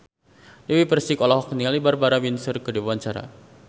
Dewi Persik olohok ningali Barbara Windsor keur diwawancara